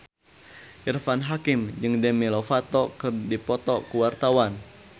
Irfan Hakim jeung Demi Lovato keur dipoto ku wartawan